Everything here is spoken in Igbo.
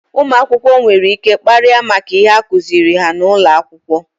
ụmụakwụkwọ nwere ike kparịa maka ihe akuziri ha n'ụlọ akwụkwọ.